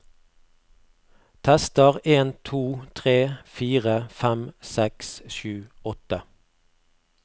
Tester en to tre fire fem seks sju åtte